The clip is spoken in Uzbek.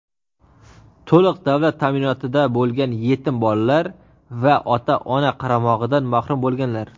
to‘liq davlat ta’minotida bo‘lgan yetim bolalar va ota-ona qaramog‘idan mahrum bo‘lganlar;.